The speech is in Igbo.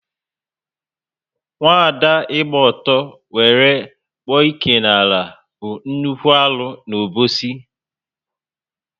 Nwaada ịgba ọtọ wéré kpụ ike n'ala bu nnukwu arụ n' Obosi